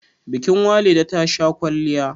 bikin Walida tasha kwalliya